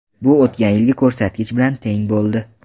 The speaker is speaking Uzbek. Bu o‘tgan yilgi ko‘rsatkich bilan teng bo‘ldi.